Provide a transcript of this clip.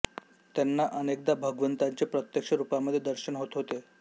त्यांना अनेकदा भगवंताचे प्रत्यक्ष रूपामध्ये दर्शन होत होते